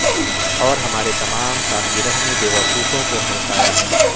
اور ہمارے تمام سالگرہ نے بیوقوفوں کو ہلکایا ہے